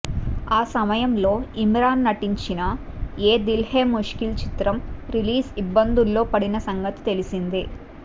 ఆ సమయంలో ఇమ్రాన్ నటించిన యే దిల్ హై ముష్కిల్ చిత్రం రిలీజ్ ఇబ్బందుల్లో పడిన సంగతి తెలిసిందే